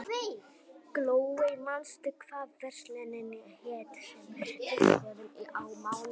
Glóey, manstu hvað verslunin hét sem við fórum í á mánudaginn?